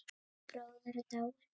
Hann Bjössi bróðir er dáinn.